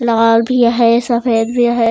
लाल भी है सफ़ेद भी है।